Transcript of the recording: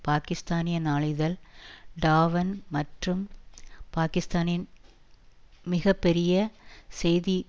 பாக்கிஸ்தானிய நாளிதழ் டாவ்ன் மற்றும் பாக்கிஸ்தானின் மிக பெரிய செய்தி